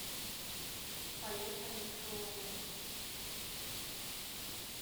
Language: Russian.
поехали шулэндо